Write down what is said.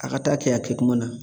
A ka taa kɛ a kɛ kuma na